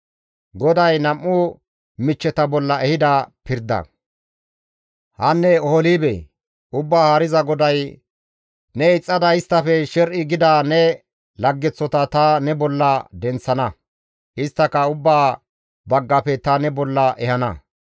«Hanne Oholibee! Ubbaa Haariza GODAY, ‹Ne ixxada isttafe sher7i gida ne laggeththota ta ne bolla denththana; isttaka ubbaa baggafe ta ne bolla ehana.